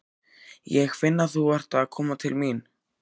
Ég finn að þú ert að koma til mín.